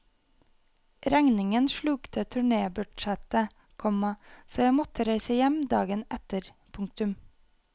Regningen slukte turnébudsjettet, komma så jeg måtte reise hjem dagen etter. punktum